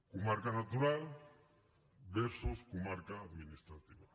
comarca natural versus comarca administrativa